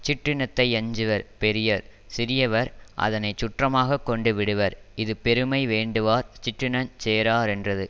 சிற்றினத்தை யஞ்சுவர் பெரியர் சிறியவர் அதனை சுற்றமாக கொண்டு விடுவர் இது பெருமை வேண்டுவார் சிற்றினஞ் சேராரென்றது